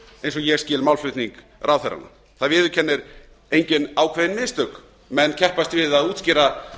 eins og ég skil málflutning ráðherranna það viðurkennir enginn ákveðin mistök menn keppast við að útskýra